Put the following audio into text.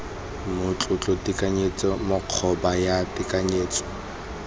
matlotlo tekanyetso kgobokanyo ya tekanyetso